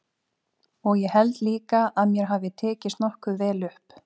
Og ég held líka að mér hafi tekist nokkuð vel upp.